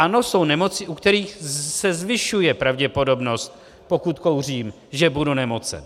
Ano, jsou nemoci, u kterých se zvyšuje pravděpodobnost, pokud kouřím, že budu nemocen.